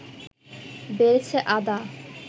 বেড়েছে আদা